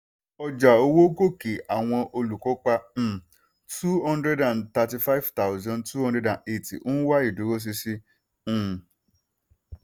ọjà owó gòkè àwọn olùkópa uhm two hundred and thirty five thousand two hundred and eighty ń wá ìdúró ṣinṣin uhm